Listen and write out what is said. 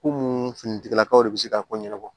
Ko mun fini tigilakaw de bɛ se k'a ko ɲɛnabɔ